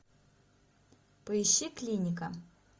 поищи клиника